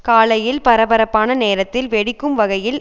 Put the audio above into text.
காலையில் பரபரப்பான நேரத்தில் வெடிக்கும் வகையில்